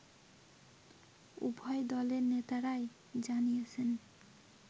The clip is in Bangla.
উভয় দলের নেতারাই জানিয়েছেন